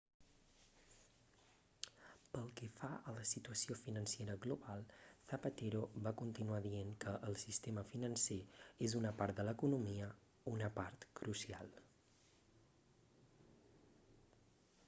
pel que fa a la situació financera global zapatero va continuar dient que el sistema financer és una part de l'economia una part crucial